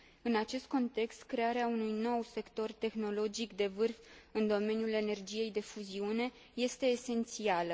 În acest context, crearea unui nou sector tehnologic de vârf în domeniul energiei de fuziune este esențială.